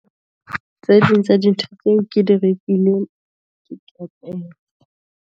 Tse ding tsa dintho tseo ke di rekileng .